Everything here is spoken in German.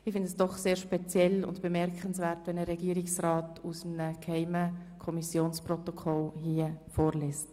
Ich finde es doch sehr speziell und bemerkenswert, wenn ein Regierungsrat hier aus einem geheimen Kommissionsprotokoll vorliest.